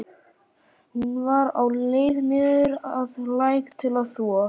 Hún var á leið niður að læk til að þvo.